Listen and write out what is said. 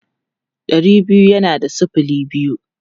Ɗari biyu yana da sifili biyu.